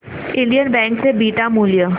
Indian bank चे beta मूल्य